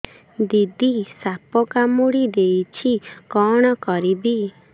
ଦିଦି ସାପ କାମୁଡି ଦେଇଛି କଣ କରିବି